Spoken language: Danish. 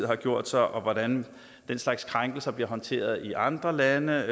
har gjort sig og hvordan den slags krænkelser bliver håndteret i andre lande